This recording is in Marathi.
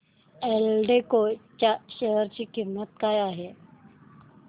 एल्डेको च्या शेअर ची किंमत काय आहे